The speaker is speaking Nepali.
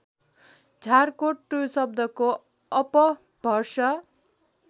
झारकोट शब्दको अपभ्रस